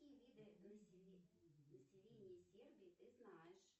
какие виды населения сербии ты знаешь